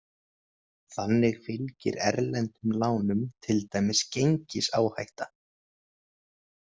Þannig fylgir erlendum lánum til dæmis gengisáhætta.